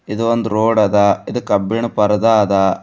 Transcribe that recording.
ಇದು ಒಂದು ರೋಡ್ ಅದ ಇದು ಕಬ್ಬಿಣದ ಪರದ ಅದ.